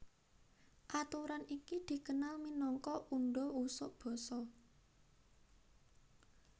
Aturan iki dikenal minangka undha usuk basa